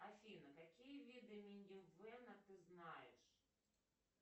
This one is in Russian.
афина какие виды минивэна ты знаешь